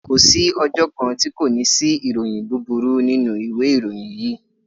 Ko sí ọjọ́ kan tí kò ní sí ìròyìn búburú nínú ìwé ìròyìn yìí